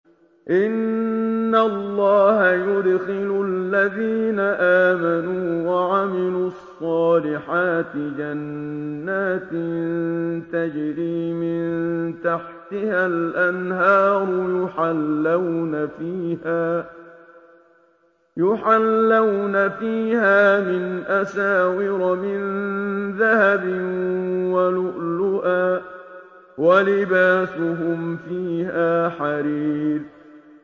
إِنَّ اللَّهَ يُدْخِلُ الَّذِينَ آمَنُوا وَعَمِلُوا الصَّالِحَاتِ جَنَّاتٍ تَجْرِي مِن تَحْتِهَا الْأَنْهَارُ يُحَلَّوْنَ فِيهَا مِنْ أَسَاوِرَ مِن ذَهَبٍ وَلُؤْلُؤًا ۖ وَلِبَاسُهُمْ فِيهَا حَرِيرٌ